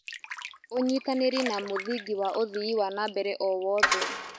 Ũnyitanĩri nĩ mũthingi wa ũthii wa na mbere o wothe.